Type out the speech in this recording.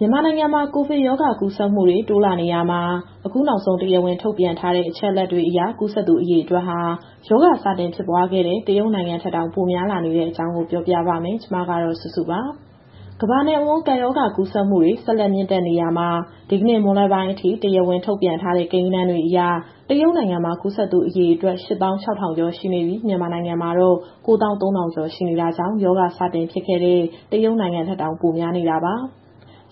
မြန်မာနိုင်ငံမှာ ကိုဗစ်ကပ်ရောဂါကူးစက်မှုတွေ တိုးလာနေရာမှာ အခုနောက်ဆုံး တရားဝင် ထုတ်ပြန်ထားတဲ့ အချက်အလက်တွေအရ ကူးစက်သူ အရေအတွက်ဟာ ရောဂါစတင်ဖြစ်ပွားခဲ့တဲ့ တရုတ်နိုင်ငံထက်တောင် ပိုများလာနေတဲ့အကြောင်း ဗွီအိုအေမြန်မာပိုင်း သတင်းထောက် မစုစုက တင်ဆက်ပေးမှာပါ။ ကမာ့္ဘတဝန်း ကပ်ရောဂါ ကူးစက်မှုတွေ ဆက်လက် မြင့်တက်နေရာမှာ ဒီနေ့မွန်းလွဲပိုင်းအထိ တရားဝင်ထုတ်ပြန်ထားတဲ့ ကိန်းဂဏန်းတွေအရ တရုတ်နိုင်ငံမှာ ကူးစက်သူအရေအတွက် ၈၆,၀၀၀ ကျော်ရှိနေပြီး၊ မြန်မာနိုင်ငံမှာတော့ ၉၃,၀၀၀ ကျော်ရှိနေတာကြောင့် ရောဂါစဖြစ်ခဲ့တဲ့ တရုတ်နိုင်ငံထက်တောင် ပိုများနေတာပါ။